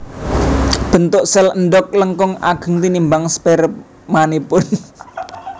Bentuk sèl endhog langkung ageng tinimbang spermanipun